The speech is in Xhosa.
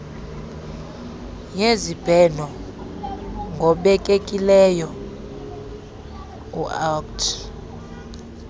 yezibheno ngobekekileyo uct